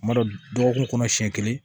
Kuma dɔ kun siɲɛ kelen